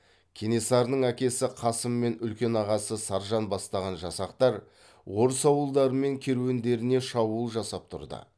кенесарының әкесі қасым мен үлкен ағасы саржан бастаған жасақтар орыс ауылдары мен керуендеріне шабуыл жасап тұрды